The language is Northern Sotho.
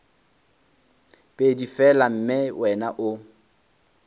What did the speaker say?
pedi fela mme wena o